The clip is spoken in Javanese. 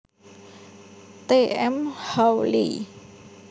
T M Hawley